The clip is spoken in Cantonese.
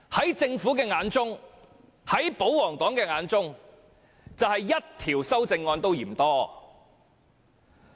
在政府及保皇黨的眼中，即使只得1項修正案也嫌多。